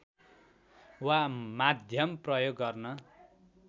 वा माध्यम प्रयोग गर्न